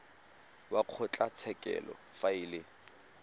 wa kgotlatshekelo fa e le